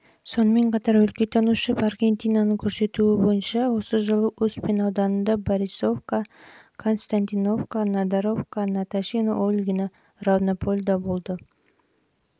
сонымен қатар өлкетанушы варкентинаның көрсетуі бойынша осы жылы успен ауданында борисовка константиновка надаровка наташино ольгино равнополь ал павлодар